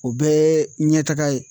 O bɛɛ ye ɲɛtaga ye